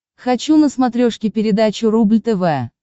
хочу на смотрешке передачу рубль тв